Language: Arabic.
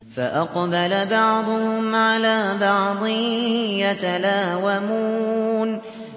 فَأَقْبَلَ بَعْضُهُمْ عَلَىٰ بَعْضٍ يَتَلَاوَمُونَ